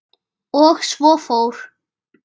Og svo fór.